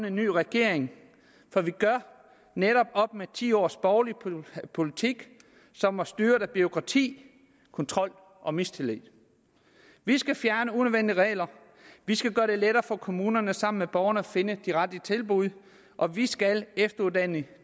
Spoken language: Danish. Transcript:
en ny regering for vi gør netop op med ti års borgerlig politik som var styret af bureaukrati kontrol og mistillid vi skal fjerne unødvendige regler vi skal gøre det lettere for kommunerne sammen med borgerne at finde de rette tilbud og vi skal efteruddanne